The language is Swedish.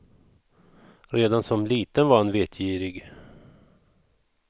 Redan som liten var han vetgirig.